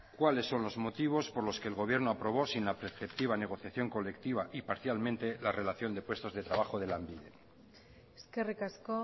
cuáles son los motivos por los que el gobierno aprobó sin la perceptiva negociación colectiva y parcialmente la relación de puestos de trabajo de lanbide eskerrik asko